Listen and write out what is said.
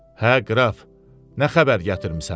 Hə, qraf, nə xəbər gətirmisən?